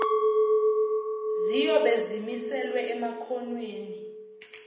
ziyobe zimiselwe emakhonweni